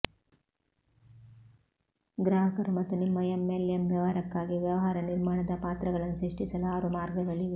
ಗ್ರಾಹಕರು ಮತ್ತು ನಿಮ್ಮ ಎಂಎಲ್ಎಂ ವ್ಯವಹಾರಕ್ಕಾಗಿ ವ್ಯವಹಾರ ನಿರ್ಮಾಣದ ಪಾತ್ರಗಳನ್ನು ಸೃಷ್ಟಿಸಲು ಆರು ಮಾರ್ಗಗಳಿವೆ